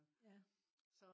ja